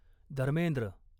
Dharmendra